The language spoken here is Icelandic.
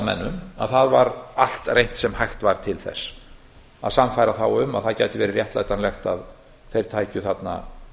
menn um að allt var reynt sem hægt var til þess að sannfæra þá um að það gæti verið réttlætanlegt að þeir bæru þarna